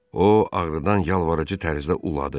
O ağrıdan yalvarıcı tərzdə uladı.